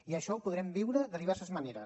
i això ho podrem viure de diverses maneres